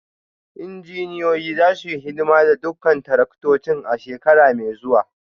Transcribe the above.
Injiniyoyin za su yi hidima ga dukkan taraktocin a shekara mai zuwa